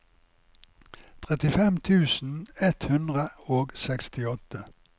trettifem tusen ett hundre og sekstiåtte